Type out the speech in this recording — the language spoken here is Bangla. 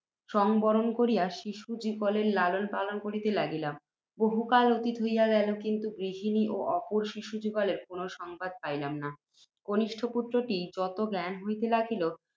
সংবরণ করিয়া, শিশুযুগলের লালন পালন করিতে লাগিলাম। বহু কাল অতীত হইয়া গেল, কিন্তু, গৃহিণী ও অপর শিশুযুগলের কোনও সংবাদ পাইলাম না। কনিষ্ঠ পুত্ত্রটির যত জ্ঞান হইতে লাগিল,